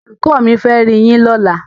Olùkọ́ mi fẹ́ riyín lọ́la.